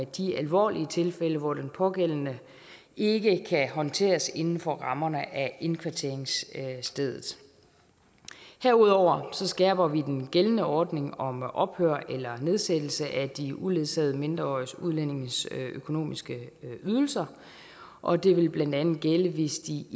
de alvorlige tilfælde hvor den pågældende ikke kan håndteres inden for rammerne af indkvarteringsstedet herudover skærper vi den gældende ordning om ophør eller nedsættelse af de uledsagede mindreårige udlændinges økonomiske ydelser og det vil blandt andet gælde hvis de